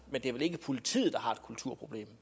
men det er vel ikke politiet der har et kulturproblem